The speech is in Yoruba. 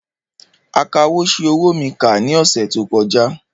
Akawò ṣi owó mi kà ní ọ̀sẹ̀ tó kọjá